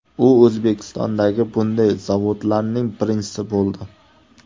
U O‘zbekistondagi bunday zavodlarning birinchisi bo‘ldi.